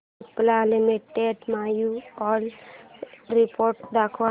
Cipla limited annual report दाखव